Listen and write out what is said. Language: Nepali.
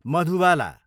मधुबाला